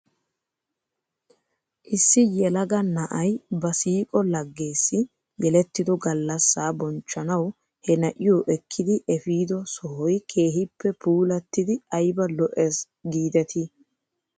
Issi yelaga na'ay ba siiqo lageessi yelettido gallasaa bonchchanaw he na'iyoo ekkidi efiido sohoy keehippe puulattidi ayba lo'es giidetii .